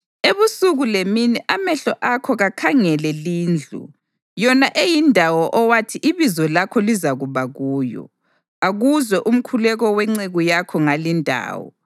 Ebusuku lemini amehlo akho kakhangele lindlu, yona eyindawo owathi iBizo lakho lizakuba kuyo. Akuzwe umkhuleko wenceku yakho ngalindawo.